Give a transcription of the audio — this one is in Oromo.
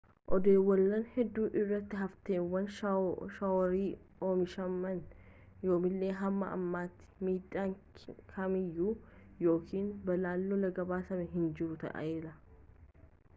oddolawwan hedduu irratti hafteewwan shaworii omishaman yoomallee hamma ammaatti miidhaan kamiyyuu yookiin balaan lolaa gabaasamee hin jiru ta'ellee